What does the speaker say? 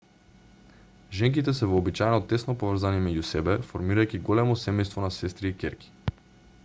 женките се вообичаено тесно поврзани меѓу себе формирајќи големо семејство на сестри и ќерки